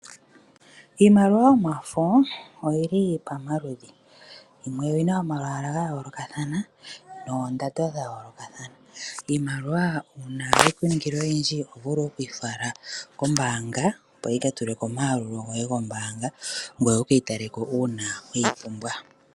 Iimaliwa yomafo oyili pamaludhi. Oyina omalwaala gayoolokathana noondando dhayooloka. Iimaliwa uuna ya ningi oyindji ohayi vulu okufalwa kombaanga opo yika tulwe komayalulo goye gombaanga ngoye wuke yi tale ko uuna weyi pumbwa.